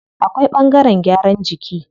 Akwai ɓangaren gyaran jiki.